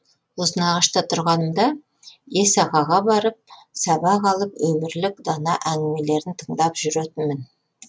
ұзынағашта тұрғанымда ес ағаға барып сабақ алып өмірлік дана әңгімелерін тыңдап жүретінмін